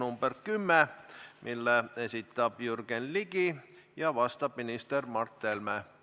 Järgmisena küsimus nr 10, mille esitab Jürgen Ligi ja millele vastab minister Mart Helme.